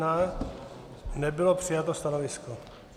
Nebylo přijato stanovisko.